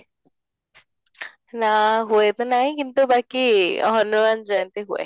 ନା ହୁଏ ତ ନାହିଁ କିନ୍ତୁ ବାକି ହନୁମାନ ଜୟନ୍ତୀ ହୁଏ